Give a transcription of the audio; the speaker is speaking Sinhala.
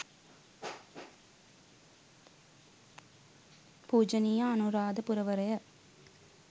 පූජනීය අනුරාධපුරවරය,